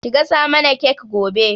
Ki gasa mana kek gobe.